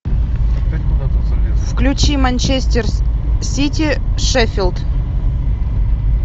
включи манчестер сити шеффилд